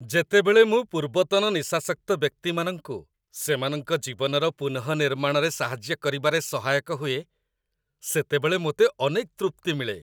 ଯେତେବେଳେ ମୁଁ ପୂର୍ବତନ ନିଶାସକ୍ତ ବ୍ୟକ୍ତିମାନଙ୍କୁ ସେମାନଙ୍କ ଜୀବନର ପୁନଃନିର୍ମାଣରେ ସାହାଯ୍ୟ କରିବାରେ ସହାୟକ ହୁଏ, ସେତେବେଳେ ମୋତେ ଅନେକ ତୃପ୍ତି ମିଳେ।